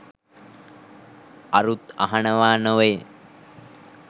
අරුත් අහනවා නොවෙයි